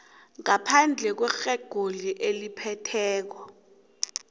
ngaphandle kwerekhodi eliphethe